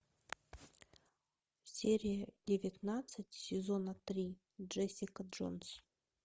серия девятнадцать сезона три джессика джонс